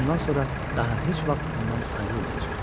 Bundan sonra daha heç vaxt ondan ayrılmayacaq.